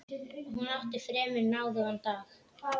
Hún átti fremur náðugan dag.